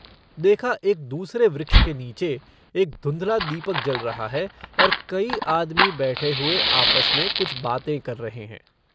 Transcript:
देखा एक दूसरे वृक्ष के नीचे एक धुंधला दीपक जल रहा है और कई आदमी बैठे हुए आपस में कुछ बातें कर रहे हैं।